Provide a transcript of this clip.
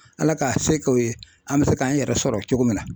Ala k'a se kɛ u ye an bɛ se k'an yɛrɛ sɔrɔ cogo min na